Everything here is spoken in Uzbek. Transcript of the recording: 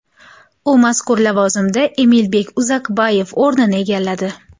U mazkur lavozimda Emilbek Uzakbayev o‘rnini egalladi.